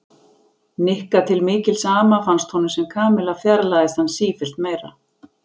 Nikka til mikils ama fannst honum sem Kamilla fjarlægðist hann sífellt meira.